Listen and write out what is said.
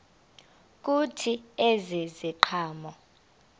kuthi ezi ziqhamo